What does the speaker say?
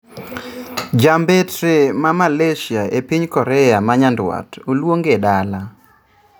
Ja mbetre ma Malaysia epiny Korea ma nyandwat oluonge dala.